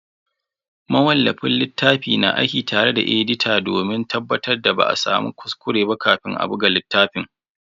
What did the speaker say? Mawallafin littafi na aiki tare da edita domin tabbatar da ba a samu kuskure ba kafin a buga littafin.